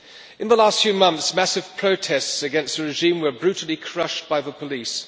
In the last few months, massive protests against the regime were brutally crushed by the police.